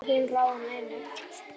Aldrei mátti hún ráða neinu.